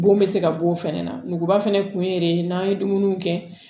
Bon bɛ se ka b'o fɛnɛ na nuguba fɛnɛ kun ye de n'an ye dumuniw kɛ